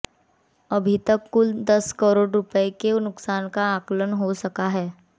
अभी तक कुल दस करोड़ रुपए के नुकसान का आकलन हो सका है